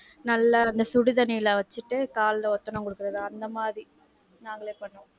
நல்லா வந்து சுடு தண்ணில வச்சிட்டு கால்ல ஒத்தடம் குடுக்குறது, அந்த மாதிரி நாங்களே பண்ணுவோம்.